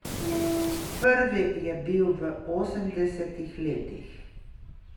Prvi je bil v osemdesetih letih.